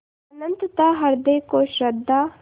अनंतता हृदय को श्रद्धा